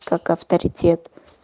как авторитет